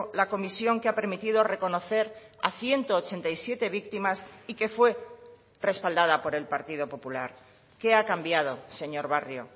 la comisión que ha permitido reconocer a ciento ochenta y siete víctimas y que fue respaldada por el partido popular qué ha cambiado señor barrio